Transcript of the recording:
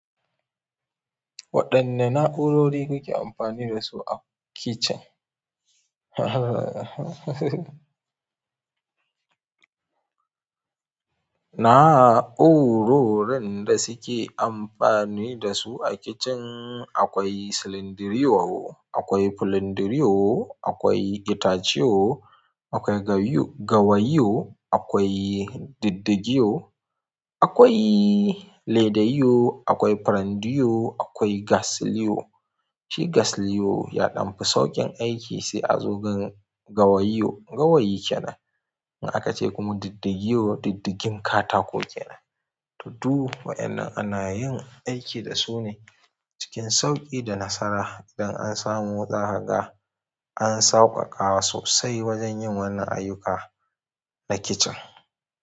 Waɗanne na'urori kuke amfani da su a kicin? Na'urorin da suke amfani da su a kicin akwai silindiriyo, akwai fulindiriyo, akwai itaceyo, akwai gawayiyo, akwai diddigiyo, akwai leda yo, akwai pirandiyo, akwai gas liyo. Shi gas liyo ya ɗan fi sauƙin aiki sai a zo ga gawayiyo, gawayi kenan. In aka ce kuma diddigiyo, diddigin katako kenan. To, duk wayannan ana yin aiki da su ne cikin sauƙi da nasara idan an samu za ka ga, an sauƙaƙawa sosai wajen yin wannan ayyuka na kicin.